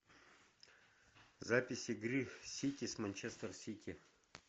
запись игры сити с манчестер сити